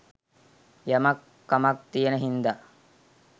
යමක් කමක් තියෙන හින්ද